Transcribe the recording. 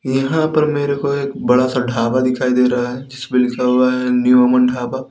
यहां पर मेरे को एक बड़ा सा ढाबा दिखाई दे रहा है जिसपे लिखा हुआ है न्यू अमन ढाबा।